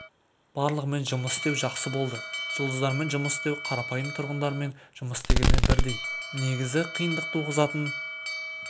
барлығымен жұмыс істеу жақсы болды жұлдыздармен жұмыс істеу қарапайым тұрғындармен жұмыс істегенмен бірдей негізі қиындық туғызатын